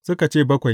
Suka ce, Bakwai.